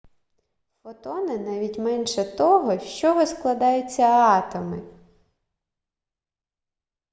фотони навіть менше того з чого складаються атоми